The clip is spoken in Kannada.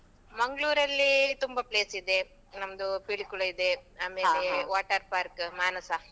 ಮಂಗ್ಳೂರಲ್ಲಿ ತುಂಬ place ಇದೆ. ನಮ್ದು ಪಿಲಿಕುಳ ಇದೆ. water park ಮಾನಸ.